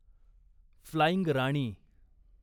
flying Rani